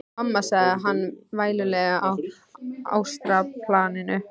Mamma, sagði hann vælulegur á astralplaninu.